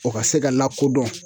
O ka se ka lakodɔn